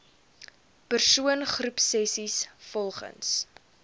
persoon groepsessies volgens